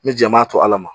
Ni jama to ala ma